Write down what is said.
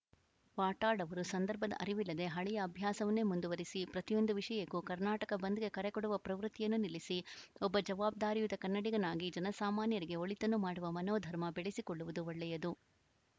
ವಾಟಾಳ್‌ ಅವರು ಸಂದರ್ಭದ ಅರಿವಿಲ್ಲದೆ ಹಳೆಯ ಅಭ್ಯಾಸವನ್ನೇ ಮುಂದುವರಿಸಿ ಪ್ರತಿಯೊಂದು ವಿಷಯಕ್ಕೂ ಕರ್ನಾಟಕ ಬಂದ್‌ಗೆ ಕರೆಕೊಡುವ ಪ್ರವೃತ್ತಿಯನ್ನು ನಿಲ್ಲಿಸಿ ಒಬ್ಬ ಜವಾಬ್ದಾರಿಯುತ ಕನ್ನಡಿಗನಾಗಿ ಜನಸಾಮಾನ್ಯರಿಗೆ ಒಳಿತನ್ನು ಮಾಡುವ ಮನೋಧರ್ಮ ಬೆಳೆಸಿಕೊಳ್ಳುವುದು ಒಳ್ಳೆಯದು